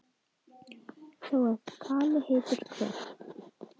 Þó að kali heitur hver